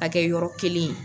K'a kɛ yɔrɔ kelen ye.